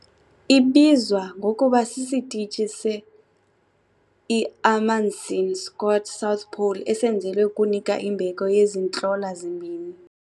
Ibizwa ngokuba sisitishi se-iAmundsen-Scott South Pole esenzelwe ukunika imbeko yezi ntlola zimbini.